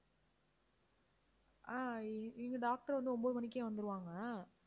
ஆஹ் இ~ இங்க doctor வந்து ஒன்பது மணிக்கே வந்துருவாங்க